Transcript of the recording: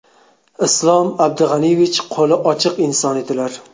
Islom Abdug‘aniyevich qo‘li ochiq inson edilar.